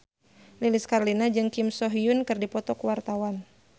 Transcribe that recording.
Lilis Karlina jeung Kim So Hyun keur dipoto ku wartawan